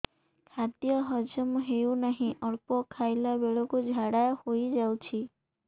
ଖାଦ୍ୟ ହଜମ ହେଉ ନାହିଁ ଅଳ୍ପ ଖାଇଲା ବେଳକୁ ଝାଡ଼ା ହୋଇଯାଉଛି